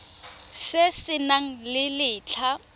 se se nang le letlha